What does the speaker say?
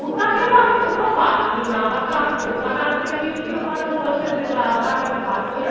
ওটাকে আমি কোথাও পাচ্ছি না। আমাকে আমি দোকানে আনতে দিয়েছি ওখানে বলছে যে, maa ma'am এটা পাচ্ছি না।